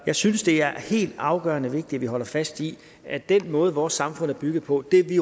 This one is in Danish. jeg synes det er helt afgørende vigtigt at vi holder fast i at den måde vores samfund er bygget på det vi